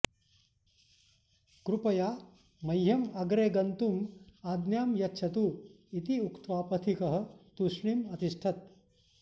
कृपया मह्यं अग्रे गन्तुम् आज्ञां यच्छतु इति उक्त्वा पथिकः तूष्णीम् अतिष्ठत्